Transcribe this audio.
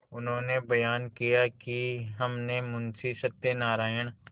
उन्होंने बयान किया कि हमने मुंशी सत्यनारायण